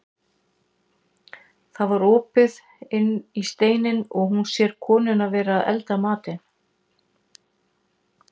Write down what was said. Það var opið inn í steininn og hún sér konuna vera að elda matinn.